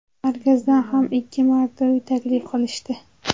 Markazdan ham ikki marta uy taklif qilishdi.